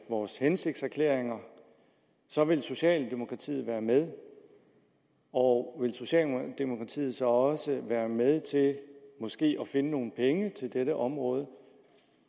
vores hensigtserklæringer så vil socialdemokratiet være med og vil socialdemokratiet så også være med til måske at finde nogle penge til dette område